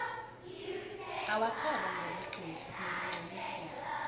awatholwa ngobuqili nilingcolisile